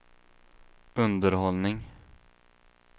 underhållning